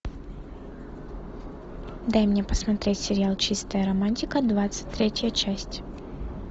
дай мне посмотреть сериал чистая романтика двадцать третья часть